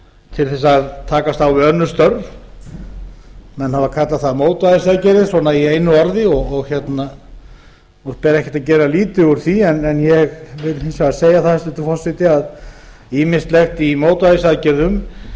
til að takast á við önnur störf menn hafa kallað það mótvægisaðgerðir í einu orði og ég er ekkert að gera lítið úr því en ég vil hins vegar segja það hæstvirtur forseti að ýmislegt í mótvægisaðgerðum